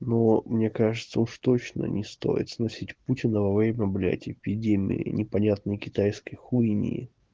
но мне кажется уж точно не стоит сносить путина во время блять эпидемии непонятные китайские хуйни